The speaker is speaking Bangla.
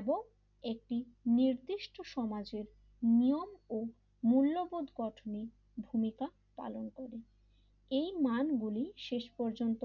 এবং একটি নির্দিষ্ট সমাজের নিয়ম ও মূল্যবোধ গঠনের ভূমিকা পালন করে এই মানগুলি শেষ পর্যন্ত